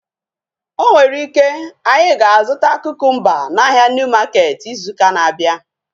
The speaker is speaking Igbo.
O nwere ike, anyị ga-azụta kukumba n'ahia Niu maketi izu ụka na-abịa